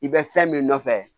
I bɛ fɛn min nɔfɛ